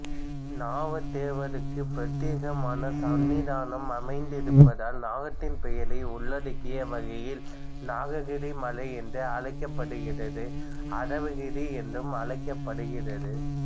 நாகதேவருக்கு பிரத்தியேகமான சன்னிதானம் அமைந்திருப்பதால் நாகத்தின் பெயரை உள்ளடக்கிய வகையில் நாககிரி மலை என்று அழைக்கப்படுகிறது அரவகிரி என்றும் அழைக்கப்படுறது